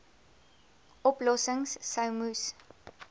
oplossings sou moes